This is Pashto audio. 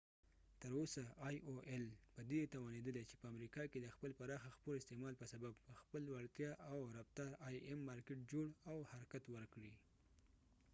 تر اوسه ای او ایل aol په دي توانیدلی چې په امریکه کې د خپل پراخه خپور استعمال به سبب په خپل وړتیا او رفتار آی امim مارکېټ جوړ او حرکت ورکړي